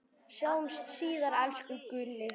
Sjáumst síðar, elsku Gulli.